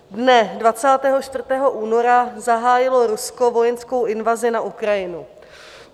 Dne 24. února zahájilo Rusko vojenskou invazi na Ukrajinu.